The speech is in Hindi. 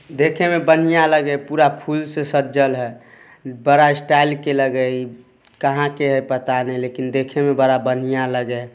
देखे में बढ़िया लगा है पूरा फुल से सजल हय। बड़ा स्टाइल के लग हई | कहाँ के हई पता न लेकिन देखे में बड़ा बढ़िया लग है।